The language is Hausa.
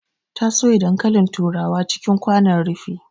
Ta soya dankalin turawa cikin kwanon rufi